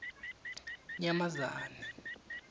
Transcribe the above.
nyamazane